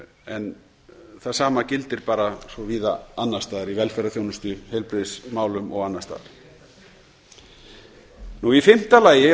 en það sama gildir bara svo víða annars staðar í velferðarþjónustu heilbrigðismálum og annars staðar í fimmta lagi er